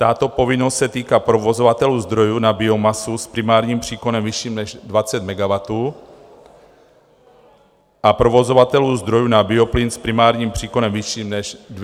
Tato povinnost se týká provozovatelů zdrojů na biomasu s primárním příkonem vyšším než 20 MW a provozovatelů zdrojů na bioplyn s primárním příkonem vyšším než 2 MW.